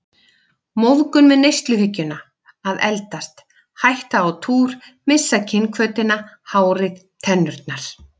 Móðgun við neysluhyggjuna að eldast, hætta á túr, missa kynhvötina, hárið, tennurnar.